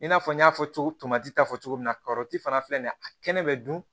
I n'a fɔ n y'a fɔ cogo min ta fɔ cogo min na karɔti fana filɛ nin ye a kɛnɛ bɛ dun